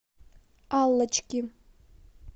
аллочки